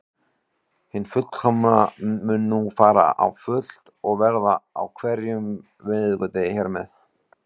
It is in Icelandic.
Hin hliðin mun nú fara á fullt og verða á hverjum miðvikudegi hér með.